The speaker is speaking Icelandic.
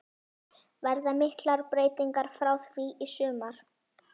Verða miklar breytingar frá því í sumar?